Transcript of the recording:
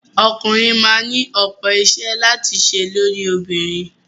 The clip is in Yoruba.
Ọkùnrin máa ni ọ̀pọ̀ iṣẹ́ láti ṣe lórí obìnrin.